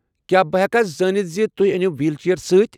کیٛاہ بہٕ ہٮ۪کا زٲنتھ ز توہہ أنِو ویٖل چیئر سۭتۍ؟